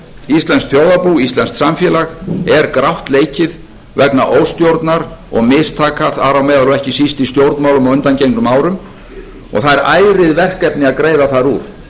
íslenskt þjóðarbú íslenskt samfélag er grátt leikið vegna óstjórnar og mistaka þar á meðal og ekki síst í stjórnmálum á undangengnum árum og það eru ærin verkefni að greiða þar úr